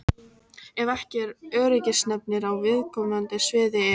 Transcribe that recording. Ef ekki eru öryggisnefndir á viðkomandi sviði er